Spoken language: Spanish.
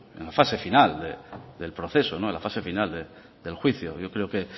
en la fase final del proceso no en la fase final del juicio yo creo que